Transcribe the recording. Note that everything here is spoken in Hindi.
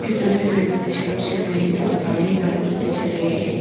इस तस्वीर मे भी दृश्य लोग चल रहे हैं और गाड़ी बाइक लोग भी चल रहे हैं।